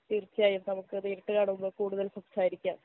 തീർച്ചയായും നമുക്ക് നേരിട്ട് കാണുമ്പോ കൂടുതൽ സംസാരിക്കാം